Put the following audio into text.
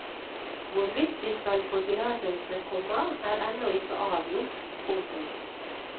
Hvorvidt de skal få tillatelse, komma er ennå ikke avgjort. punktum